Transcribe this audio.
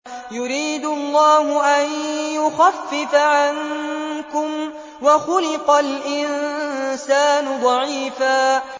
يُرِيدُ اللَّهُ أَن يُخَفِّفَ عَنكُمْ ۚ وَخُلِقَ الْإِنسَانُ ضَعِيفًا